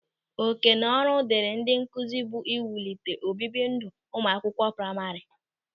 Òkènaọrụ dịrị ndị nkụzi bụ iwulite obibi ndụ ụmụ akwụkwọ praima.